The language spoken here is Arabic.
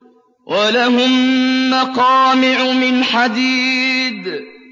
وَلَهُم مَّقَامِعُ مِنْ حَدِيدٍ